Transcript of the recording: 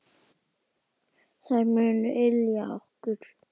Þær munu ylja okkur.